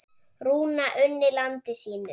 Rúna unni landi sínu.